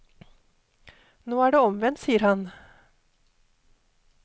Nå er det omvendt, sier han.